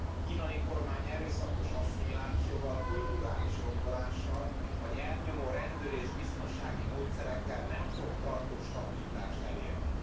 A kínai kormány erőszakos asszimilációval, kulturális rombolással vagy elnyomó rendőri és biztonsági módszerekkel nem fog tartós stabilitást elérni.